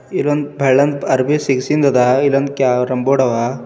ಇಲ್ಲೊಂದ್ ಬೆಳ್ಳಂದ್ ಅರ್ಬಿ ಸಿಗ್ ಸಿಂದ್ ಅದ ಇಲ್ಲೊಂದ್ ಕ್ಯಾರಮ್ ಬೋರ್ಡ್ ಅವ--